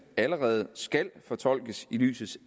allerede skal fortolkes i lyset